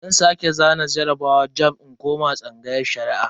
Zan sake zana jarabawar jamb in koma tsangayar Shari'a.